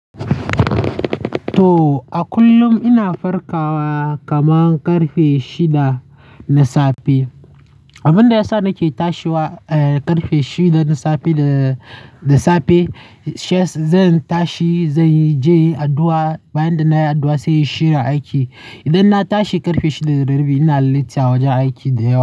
To, a kullum ina farkawa kaman karfe shida na safe. Abunda yasa nake tashiwa, eh, karfe shida na safe da, da safe, she- zan tashi, zan je addu'a. Bayan da nayi addu'a sai in shirin aiki. Idan na tashi karfe shida da rabi ina lissa wajen aiki da yawa.